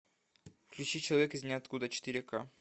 включи человек из ниоткуда четыре ка